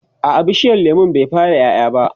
a'a bishiyar lemun bai fara ƴaƴa ba